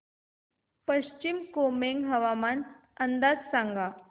पश्चिम कामेंग हवामान अंदाज सांगा